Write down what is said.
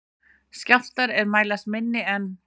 Skjálftar er mælast minni en